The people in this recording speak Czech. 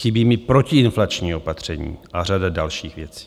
Chybí mi protiinflační opatření a řada dalších věcí.